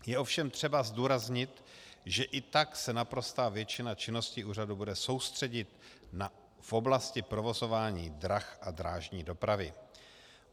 Je ovšem třeba zdůraznit, že i tak se naprostá většina činnosti úřadu bude soustředit v oblasti provozování drah a drážní dopravy.